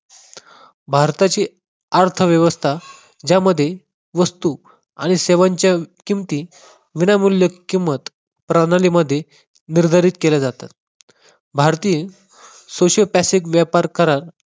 भारताची अर्थव्यवस्था ज्यामध्ये वस्तू आणि सेवांच्या किमती विनामूल्य किंमत प्रणालीमध्ये निर्धारित केल्या जातात. भारतीय सोशल पॅसिफिक व्यापार करार